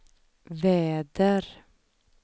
väder